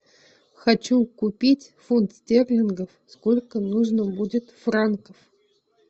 хочу купить фунт стерлингов сколько нужно будет франков